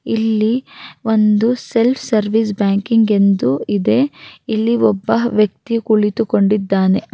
ಇಲ್ಲಿ ಒಂದು self service banking ಎಂದು ಇದೆ ಇಲ್ಲಿ ಒಬ್ಬ ವ್ಯಕ್ತಿಯು ಕುಳಿತುಕೊಂಡಿದ್ದಾನೆ-